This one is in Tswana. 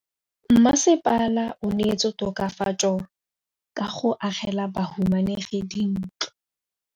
Mmasepala o neetse tokafatsô ka go agela bahumanegi dintlo.